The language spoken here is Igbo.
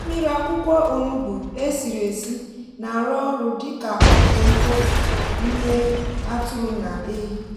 mmiri akwukwo onugbu e siri esi na-arụ ọrụ dị ka ọgwụ mkpofu n’ime atụrụ na ehi.